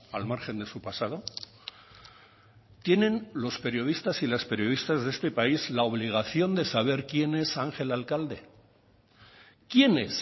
al margen de su pasado tienen los periodistas y las periodistas de este país la obligación de saber quién es ángel alcalde quién es